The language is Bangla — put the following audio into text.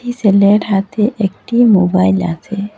সেলের হাতে একটি মোবাইল আছে।